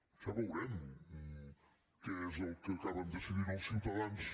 ja ho veurem què és el que acaben decidint els ciutadans